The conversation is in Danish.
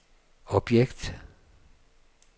objekt